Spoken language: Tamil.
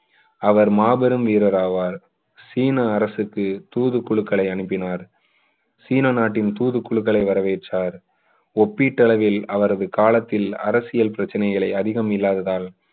அவர் மாபெரும் வீரர் ஆவார் சீன அரசுக்கு தூது குழுக்களை அனுப்பினார் சீன நாட்டின் தூது குழுக்களை வரவேற்றார் ஒப்பீட்டு அளவில் அவரது காலத்தில் பிரச்சினைகளே அதிகம் இல்லாததால்